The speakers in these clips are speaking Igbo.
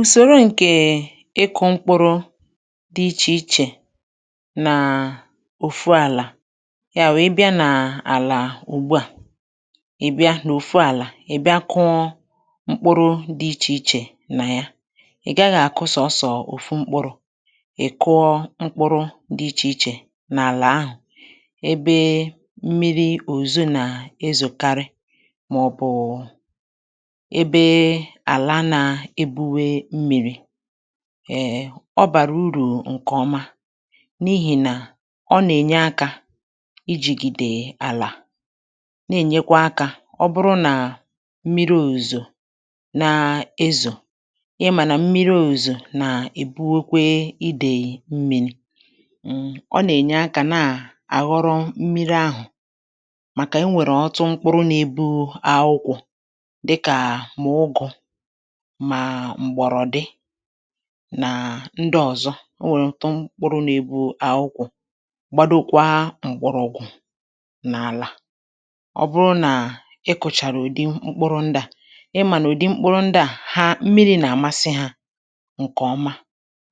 ùsòrò ǹkè ịkụ̇ mkpuru dị ichè ichè nà òfu àlà ya wèe bịa nà àlà ùgbu à i bịa n’òfu àlà i bịa kụọ mkpuru dị ichè ichè nà ya ị̀ gaghị̇ àkụ sọ̀sọ̀ òfu mkpuru̇ i kụọ mkpuru dị ichè ichè nà àlà ahụ̀ ebe mmiri̇ òzuzo nà ezu̇karị màọbụ̀ ebè na eburi mmiri ọ bàrà urù ǹkè ọma n’ihì nà ọ nà-ènye akȧ ijìgì dì àlà na-ènyekwa akȧ ọ bụrụ nà mmiri ozò na-ezò ị mà nà mmiri ozò nà-èbuokwe idèyì mmiri ọ nà-ènye akȧ na-àghọrọ mmiri ahụ̀ màkà e nwèrè ọtụ mkpụrụ̇ nȧ-ėbu akwụkwọ̇ màà m̀gbọ̀rọ̀ dị nàà ndị ọ̀zọ o nwèrè m tụ mkpụrụ nȧ-ėbụ̇ akwụkwọ̇ gbado kwa m̀kpụrụ̇gwụ̀ n’àlà ọ bụrụ nà ị kụ̇chàrà ụ̀dị mkpụrụ ndị à ị mà nà ụ̀dị mkpụrụ ndị à ha mmiri̇ nà-àmasị hȧ ǹkèọma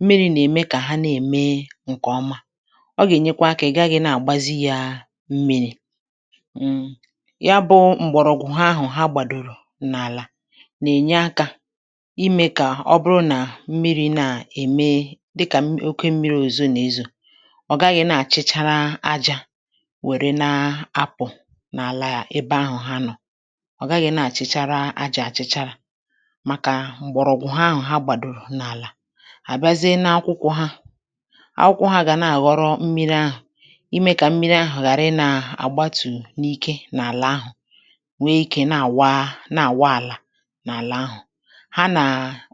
mmiri̇ nà-ème kà ha na-ème ǹkèọma ọ gà-ènyekwa akȧ ị̀ gaghị̇ nà-àgbazi ya mmiri̇ ya bụ m̀gbọ̀rọ̀gwụ̀ ha ahụ̀ ha gbàdòrò n’àlà imė kà ọ bụrụ nà mmiri̇ na-ème dịkà oke mmiri̇ òzu n’ịzụ̇ ọ̀ gaghị̇ na-àchịchara ajȧ wère na-apụ̀ n’àlà yȧ ebe ahụ̀ ha nọ̇ ọ̀ gaghị̇ na-àchịchara ajȧ àchịchara màkà m̀gbọ̀rọ̀ọ̀kwụ̀ ha ahụ̇ ha gbàdòrò n’àlà àbịazie n’akwụkwọ̇ ha akwụkwọ̇ ha gà na-àghọrọ mmiri ahụ̀ imė kà mmiri ahụ̀ ghàra ịnȧ-àgbatù n’ike n’àlà ahụ̀ wee ikė na-àwa na-àwa àlà ha nà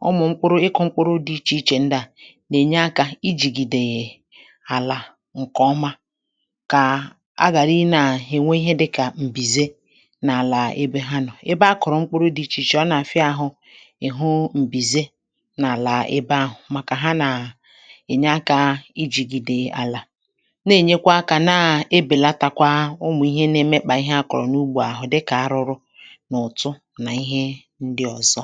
ụmụ̀ mkpụrụ ịkụ̇ mkpụrụ dị ichè ichè nldị à nà-ènye akȧ i jìgìdè yà àlà ǹkè ọma kà a gàrà i ne à hẹnwẹ ihe dị kà m̀bìze n’àlà ebė ha nọ̀ ebe a kụ̀rụ mkpụrụ dị ichè ichè ọ nà-àfịa ȧhụ̇ ị̀hụ m̀bìze n’àlà ebe ahụ̀ màkà ha nà ènye akȧ i jìgìdè àlà na-ènyekwa akȧ na-ebèlatakwa ụmụ̀ ihe na-emekpà ihe a kọ̀rọ̀ n’ugbȯ àhụ dịkà arụrụ foto